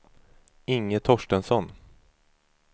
Inge Torstensson